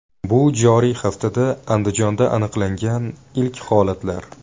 Bu joriy haftada Andijonda aniqlangan ilk holatlar.